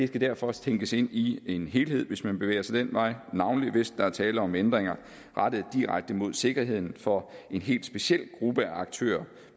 skal derfor også tænkes ind i en helhed hvis man bevæger sig den vej navnlig hvis der er tale om ændringer rettet direkte mod sikkerheden for en helt speciel gruppe af aktører